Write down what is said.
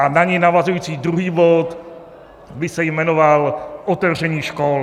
A na něj navazující druhý bod by se jmenoval "otevření škol".